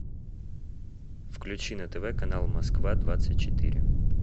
включи на тв канал москва двадцать четыре